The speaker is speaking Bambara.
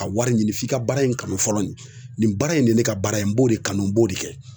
Ka wari ɲini f'i ka baara in kanu fɔlɔ nin baara in de ye ne ka baara ye n b'o de kanu n b'o de kɛ